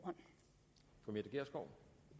co